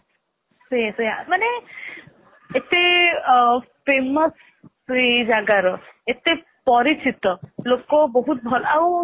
ସେଇଆ ସେଇଆ ମାନେ ଏତେ ଅ famous ହୁଏ ଏ ଜାଗାର ଏତେ ପରିଚିତ ଲୋକ ବହୁତ ଭଲ ଆଉ